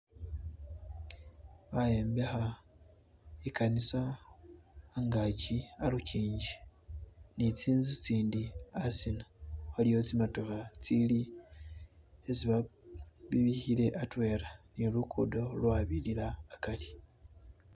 bayembeha ikanisa angachi aluchinji nitsinzu tsindi asina waliyo tsimotoha tsili tsesi babihile atwela nilukudo lwabilila akari